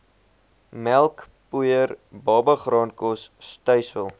melkpoeier babagraankos stysel